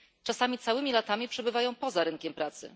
Czasami całymi latami przebywają poza rynkiem pracy.